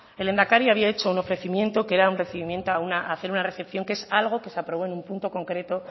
el lehendakari había hecho un ofrecimiento que era un recibimiento a hacer una recepción que es algo que se aprobó en un punto concreto